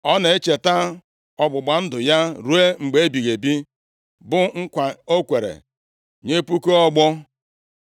Ọ na-echeta ọgbụgba ndụ ya ruo mgbe ebighị ebi; bụ nkwa o kwere nye puku ọgbọ.